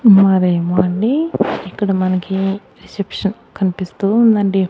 మరేమో అండి ఇక్కడ మనకి రిసెప్షన్ కనిపిస్తూ ఉందండి.